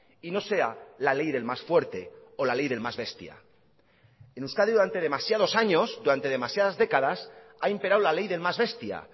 y no sea la ley del más fuerte o la ley del más bestia en euskadi durante demasiados años durante demasiadas décadas ha imperado la ley del más bestia